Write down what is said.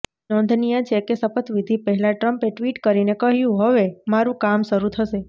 નોંધનીય છે કે શપથવિધિ પહેલા ટ્રંપે ટ્વિટ કરીને કહ્યું હવે મારું કામ શરૂ થશે